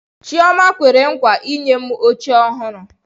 Chioma kwere nkwa inye m oche ọhụrụ.